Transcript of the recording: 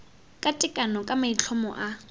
ka tekano ka maitlhomo a